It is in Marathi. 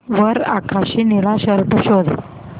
वर आकाशी निळा शर्ट शोध